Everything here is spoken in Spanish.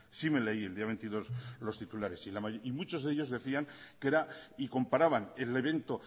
sí me leí el día veintidós los titulares y muchos de ellos decían que era y comparaban el evento